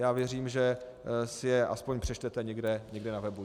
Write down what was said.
Já věřím, že si je aspoň přečtete někde na webu.